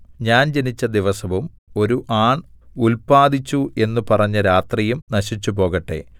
ഞാൻ ജനിച്ച ദിവസവും ഒരു ആൺ ഉല്പാദിച്ചു എന്ന് പറഞ്ഞ രാത്രിയും നശിച്ചുപോകട്ടെ